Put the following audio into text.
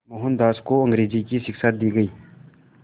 मोहनदास को अंग्रेज़ी की शिक्षा दी गई